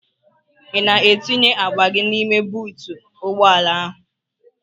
Ị na-etinye akpa gị n'ime buutu ụgbọala ahụ?